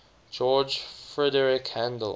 george frideric handel